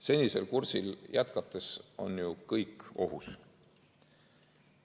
Senisel kursil jätkates on ju kõik ohus.